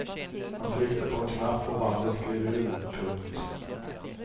Han tryckte på en knapp och bandet gled ur. punkt